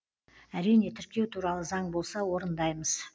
әрине тіркеу туралы заң болса орындаймыз